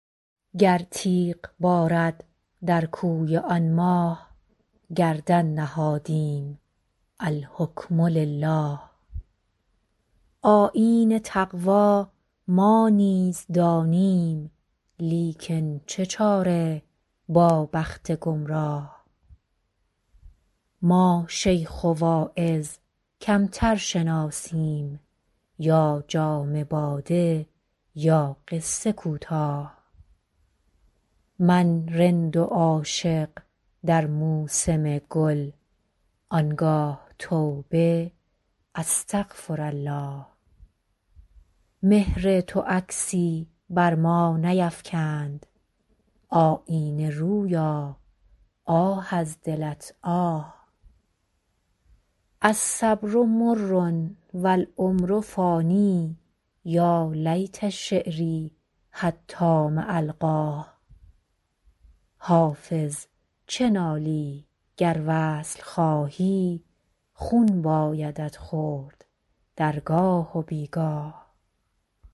گر تیغ بارد در کوی آن ماه گردن نهادیم الحکم لله آیین تقوا ما نیز دانیم لیکن چه چاره با بخت گمراه ما شیخ و واعظ کمتر شناسیم یا جام باده یا قصه کوتاه من رند و عاشق در موسم گل آن گاه توبه استغفرالله مهر تو عکسی بر ما نیفکند آیینه رویا آه از دلت آه الصبر مر و العمر فان یا لیت شعري حتام ألقاه حافظ چه نالی گر وصل خواهی خون بایدت خورد در گاه و بی گاه